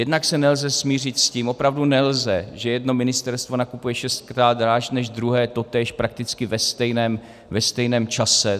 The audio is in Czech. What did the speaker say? Jednak se nelze smířit s tím, opravdu nelze, že jedno ministerstvo nakupuje šestkrát dráž než druhé totéž prakticky ve stejném čase.